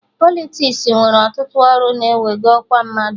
Politiks nwere ọtụtụ ọrụ na-ewego ọkwa mmadụ